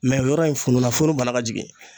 o yɔrɔ in fununa funu banna ka jigin.